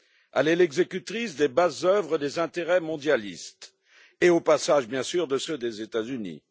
Elle est l'exécutrice des basses œuvres des intérêts mondialistes et, au passage bien sûr, de ceux des États Unis.